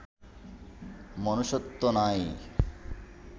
মনুষ্যত্ব নাই